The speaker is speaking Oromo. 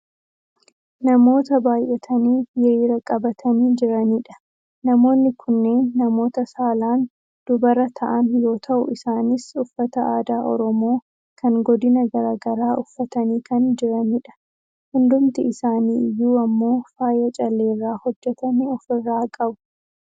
namoota baayyatanii hiriira qabatanii jiranidha. namoonni kunneen namoota saalaan dubara ta'an yoo ta'u isaanis uffata aadaa oromoo kan godina gara garaa uffatanii kan jiranidha. hundumti isaanii iyyuu ammoo faaya calleerraa hojjatame ofirraa qabu.